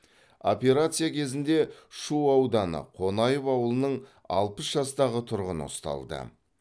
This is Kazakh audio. операция кезінде шу ауданы қонаев ауылының алпыс жастағы тұрғыны ұсталды